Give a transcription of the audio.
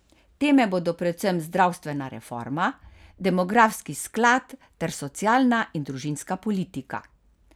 Teme bodo predvsem zdravstvena reforma, demografski sklad ter socialna in družinska politika.